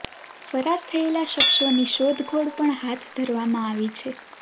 ફરાર થયેલા શખ્સોની શોધખોળ પણ હાથ ધરવામાં આવી છે